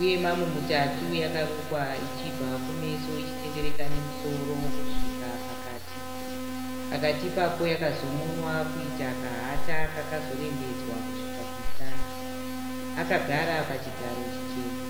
uye mamu mutatu yakarukwa ichibva kumeso ichitendereka nemusoro kusvika pakati, pakati ipapo yakazomonwa kuita kahata kakazororembedzwa kusvika kumusana. Akagara pachigaro chichena.